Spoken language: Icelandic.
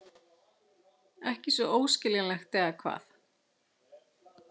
Ekki svo óskiljanlegt, eða hvað?